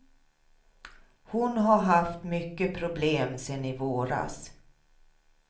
Hon har haft mycket problem sen i våras.